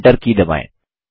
enter key दबाएँ